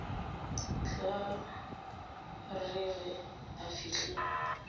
tla re ge a fihla